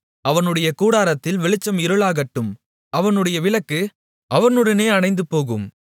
அவனுடைய கூடாரத்தில் வெளிச்சம் இருளாக்கப்படும் அவனுடைய விளக்கு அவனுடனே அணைந்துபோகும்